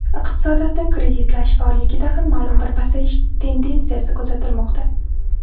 Iqtisodiyotni kreditlash faolligida ham ma’lum bir pasayish tendensiyasi kuzatilmoqda.